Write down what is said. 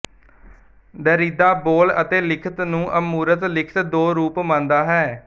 Derrida ਬੋਲ ਅਤੇ ਲਿਖਤ ਨੂੰ ਅਮੂਰਤ ਲਿਖਤ ਦੋ ਰੂਪ ਮੰਨਦਾ ਹੈ